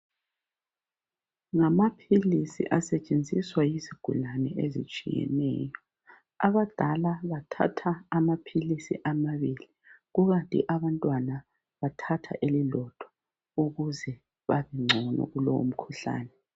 Ngamaphilisi asetshenziswa yizigulane ezitshiyeneyo abadala bathatha amaphilisi amabili kukanti abantwana bathatha elilodwa ukuze babe ngcono kulowo mkhuhlane.